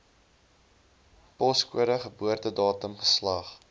poskode geboortedatum geslag